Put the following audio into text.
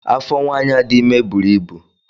Afọ nwanyị a dị ime bụrụ ibu